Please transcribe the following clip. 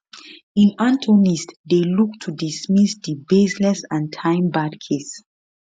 im attorneys dey look to dismiss di baseless and timebarred case